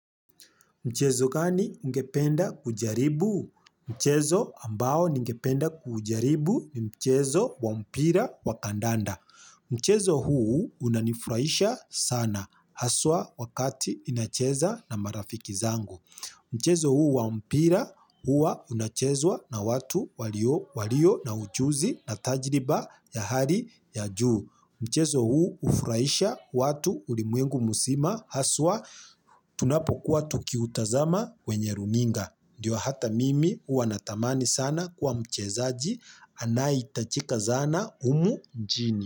Mchezo gani ungependa kujaribu? Mchezo ambao ningependa kujaribu ni mchezo wa mpira wa kandanda. Mchezo huu unanifurahisha sana haswa wakati ninacheza na marafiki zangu. Mchezo huu wa mpira huwa unachezwa na watu walio na ujuzi na tajriba ya hali ya juu. Mchezo huu hufuraisha watu ulimwengu mzima haswa tunapokuwa tukiutazama kwenye runinga. Ndio hata mimi huwa natamani sana kuwa mchezaji anayehitajika sana humu mjini.